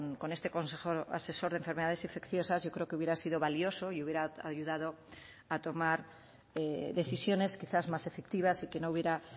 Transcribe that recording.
con este consejo asesor de enfermedades infecciosas yo creo que hubiera sido valioso y hubiera ayudado a tomar decisiones quizás más efectivas y que no hubiera